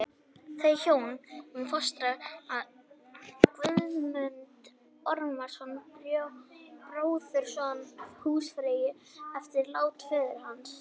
Þau hjón fóstra Guðmund Ormsson, bróðurson húsfreyju, eftir lát föður hans.